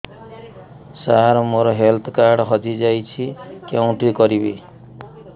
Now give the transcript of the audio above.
ସାର ମୋର health card ହଜି ଯାଇଛି କେଉଁଠି କରିବି